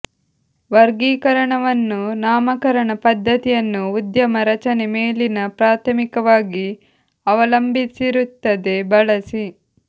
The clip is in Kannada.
ವರ್ಗೀಕರಣವನ್ನು ನಾಮಕರಣ ಪದ್ಧತಿಯನ್ನು ಉದ್ಯಮ ರಚನೆ ಮೇಲಿನ ಪ್ರಾಥಮಿಕವಾಗಿ ಅವಲಂಬಿಸಿರುತ್ತದೆ ಬಳಸಿ